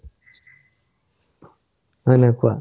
হয় নে নাই কুৱা